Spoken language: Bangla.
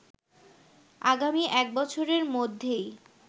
আগামী এক বছরের মধ্যেই